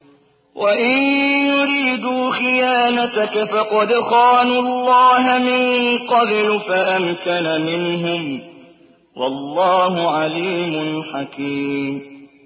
وَإِن يُرِيدُوا خِيَانَتَكَ فَقَدْ خَانُوا اللَّهَ مِن قَبْلُ فَأَمْكَنَ مِنْهُمْ ۗ وَاللَّهُ عَلِيمٌ حَكِيمٌ